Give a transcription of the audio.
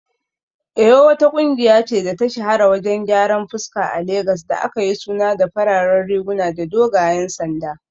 Eyo wata kungiya ce da ta shahara wajen gyaran fuska a Legas da aka yi suna da fararen riguna da dogayen sanda